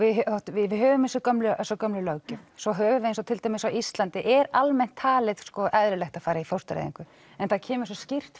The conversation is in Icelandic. við höfum þessa gömlu þessa gömlu löggjöf svo höfum við eins og til dæmis á Íslandi er almennt talið eðlilegt að fara í fóstureyðingu en það kemur svo skýrt